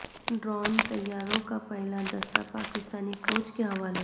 drone طیاروں کا پہلا دستہ پاکستانی فوج کے حوالے